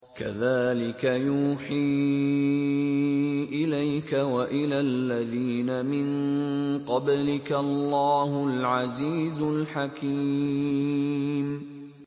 كَذَٰلِكَ يُوحِي إِلَيْكَ وَإِلَى الَّذِينَ مِن قَبْلِكَ اللَّهُ الْعَزِيزُ الْحَكِيمُ